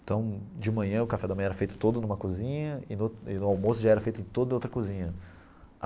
Então, de manhã, o café da manhã era feito todo numa cozinha, e no e no almoço já era feito todo em outra cozinha.